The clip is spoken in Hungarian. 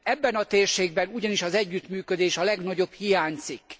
Ebben a térségben ugyanis az együttműködés a legnagyobb hiánycikk.